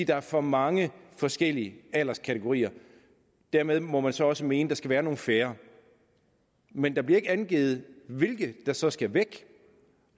der er for mange forskellige alderskategorier dermed må man så også mene at der skal være nogle færre men der bliver ikke angivet hvilke der så skal væk